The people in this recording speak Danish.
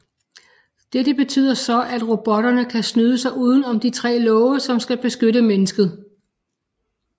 Dette betyder så at robotterne kan snyde sig uden om de tre love som skal beskytte mennesket